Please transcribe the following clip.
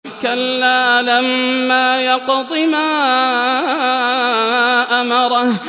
كَلَّا لَمَّا يَقْضِ مَا أَمَرَهُ